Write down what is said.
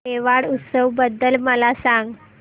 मेवाड उत्सव बद्दल मला सांग